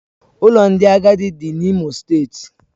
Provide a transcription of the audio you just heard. Ụlọ ndị agadi dị n'Imo steeti